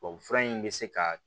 Tubabufura in bɛ se ka